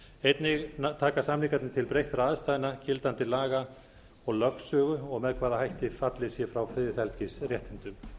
einnig taka samningarnir til breyttra aðstæðna gildandi laga og lögsögu og með hvaða hætti fallið sé frá friðhelgisréttindum